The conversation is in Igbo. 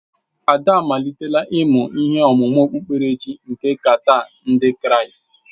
Ada amalitela ịmụ ihe ọmụmụ okpukperechi nke Qatar ndị Kraịst.